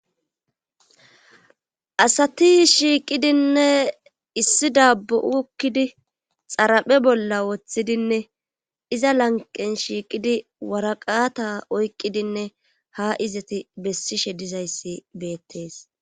asati shiiqidinne issi dabbu7ukkidi xaraphe bolla woththidinne iza lanqen shiiqidi waraqata oyqqidinne ha izati bessishe dizayssi beettees